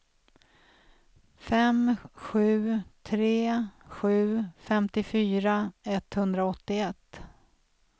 fem sju tre sju femtiofyra etthundraåttioett